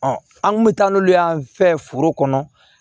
an kun bɛ taa n'olu y'an fɛ foro kɔnɔ